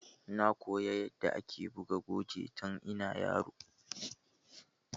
Na koya yanda ake buga goje tun ina yaro